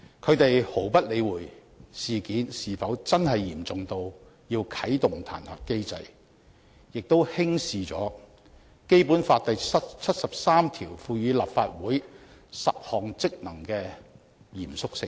他們毫不理會事件是否真的嚴重到要啟動彈劾機制，也輕視了《基本法》第七十三條賦予立法會10項職能的嚴肅性。